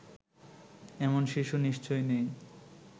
এমন শিশু নিশ্চয় নেই